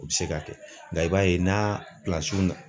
U bɛ se ka kɛ nka i b'a ye n'a